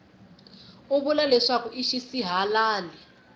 u vula leswaku i xisihalali